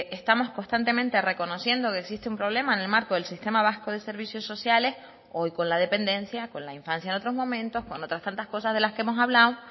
estamos constantemente reconociendo que existe un problema en el marco del sistema vasco de servicios sociales hoy con la dependencia con la infancia en otros momentos con otras tantas cosas de las que hemos hablado